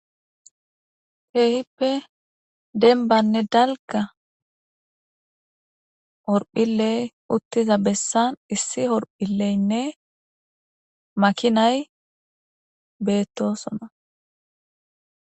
Keehippe denbanne dalga horphiley uttiza bessan issi horphilleynne makinay beettosona